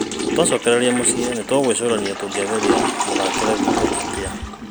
Twacokereria na mũciĩ nĩtũgwĩcũrania tuone tũngĩagĩria mũthakĩre witũ atĩa